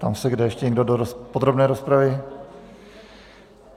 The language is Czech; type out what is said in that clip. Ptám se, zda ještě někdo do podrobné rozpravy.